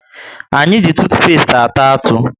Anyị ji tutupesti ata atụ